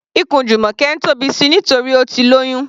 Ikùn Jumoke ń tóbi síi nítorí Ó ti lóyún.